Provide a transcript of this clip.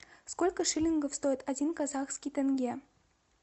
сколько шиллингов стоит один казахский тенге